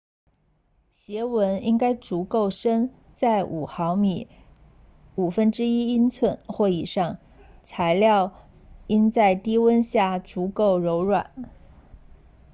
鞋纹应该足够深在5毫米 1/5 英寸或以上材料应在低温下足够柔软